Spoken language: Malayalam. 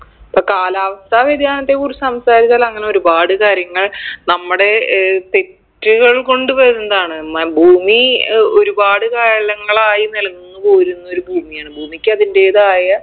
ഇപ്പൊ കാലാവസ്ഥാ വ്യതിയാനത്തെ കുറിച്ച് സംസാരിച്ചാൽ അങ്ങനെ ഒരുപാട് കാര്യങ്ങൾ നമ്മടെ ഏർ തെറ്റുകൾ കൊണ്ട് വരുന്നതാണ് മൽ ഭൂമി ഏർ ഒരുപാട് കാലങ്ങളായി നിലനിന്ന് പോരുന്നൊരു ഭൂമിയാണ് ഭൂമിക്ക് അതിൻറെതായ